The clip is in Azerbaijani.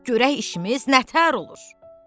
Görək işimiz nətər olur.